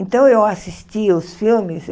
Então, eu assistia os filmes.